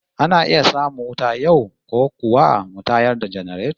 Ana iya samun wuta yau, ko kuwa mu tayar da janareto?